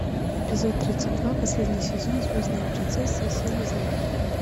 эпизод тридцать два последний сезон звездная принцесса и силы зла